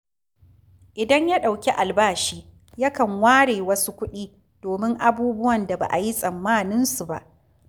Idan ya ɗauki albashi, yankan ware wasu kuɗi domin abubuwan da ba a yi tsammaninsu ba